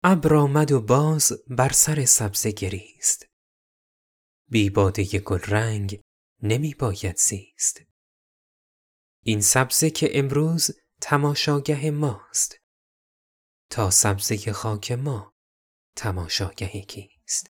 ابر آمد و باز بر سر سبزه گریست بی باده گلرنگ نمی باید زیست این سبزه که امروز تماشاگه ماست تا سبزه خاک ما تماشاگه کیست